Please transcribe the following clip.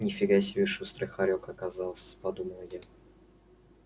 ни фига себе шустрый хорёк оказался подумала я